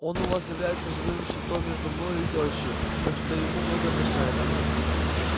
он у вас является живым щитом между мною и тёщей так что ему многое прощается